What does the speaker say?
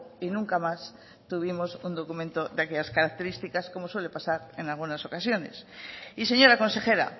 y nunca más tuvimos un documento de esas características como suele pasar en algunas ocasiones y señora consejera